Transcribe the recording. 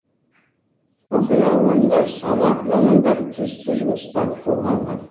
оқиға орнында сала мамандары тиісті жұмыстарды қолға алған